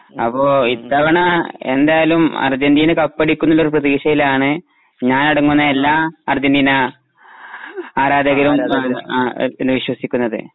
അപ്പൊ ഇത്തവണ എന്തായാലും അര്ജന്റീന കപ്പടിക്കുന്നുള്ള പ്രധീക്ഷയിലാണ് ഞാനടങ്ങുന്ന എല്ലാ അര്ജന്റീന ആ ആരാധകരും അ ആ ആ ആരാധകരും വിശ്വസിക്കുന്നതു.